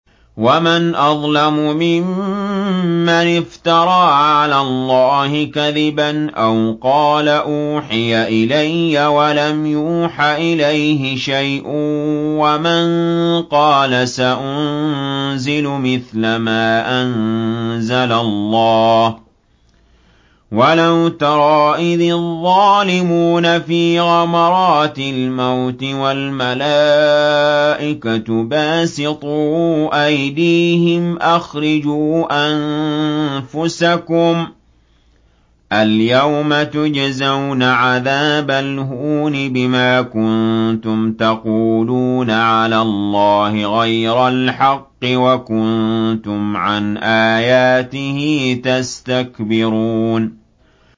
وَمَنْ أَظْلَمُ مِمَّنِ افْتَرَىٰ عَلَى اللَّهِ كَذِبًا أَوْ قَالَ أُوحِيَ إِلَيَّ وَلَمْ يُوحَ إِلَيْهِ شَيْءٌ وَمَن قَالَ سَأُنزِلُ مِثْلَ مَا أَنزَلَ اللَّهُ ۗ وَلَوْ تَرَىٰ إِذِ الظَّالِمُونَ فِي غَمَرَاتِ الْمَوْتِ وَالْمَلَائِكَةُ بَاسِطُو أَيْدِيهِمْ أَخْرِجُوا أَنفُسَكُمُ ۖ الْيَوْمَ تُجْزَوْنَ عَذَابَ الْهُونِ بِمَا كُنتُمْ تَقُولُونَ عَلَى اللَّهِ غَيْرَ الْحَقِّ وَكُنتُمْ عَنْ آيَاتِهِ تَسْتَكْبِرُونَ